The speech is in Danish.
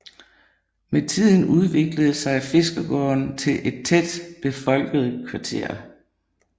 Med tiden udviklede sig Fiskergaarden til et tæt befolket kvarter